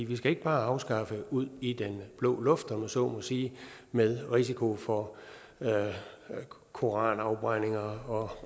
vi skal ikke bare afskaffe paragraffen ud i den blå luft om jeg så må sige med risiko for koranafbrændinger og